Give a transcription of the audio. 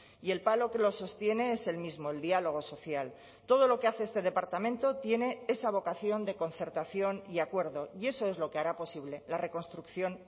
y el palo que lo sostiene es el mismo el diálogo social todo lo que hace este departamento tiene esa vocación de concertación y acuerdo y eso es lo que hará posible la reconstrucción